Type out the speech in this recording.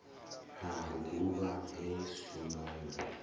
ha luguvha he shumba na